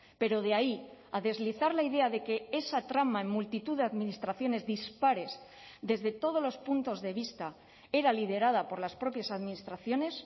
pero de ahí a deslizar la idea de que esa trama en multitud de administraciones dispares desde todos los puntos de vista era liderada por las propias administraciones